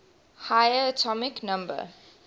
higher atomic number